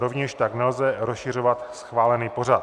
Rovněž tak nelze rozšiřovat schválený pořad.